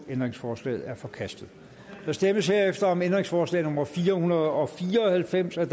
ændringsforslaget er forkastet der stemmes om ændringsforslag nummer fire hundrede og fire og halvfems af